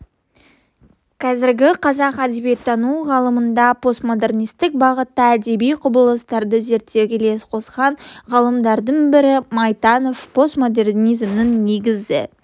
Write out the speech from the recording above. қазіргі қазақ әдебиеттану ғылымында постмодернистік бағыттағы әдеби құбылыстарды зерттеуге үлес қосқан ғалымдардың бірі майтанов постмодернизмнің негізгі